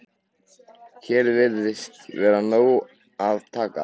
Hér virðist vera af nógu að taka.